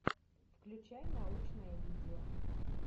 включай научное видео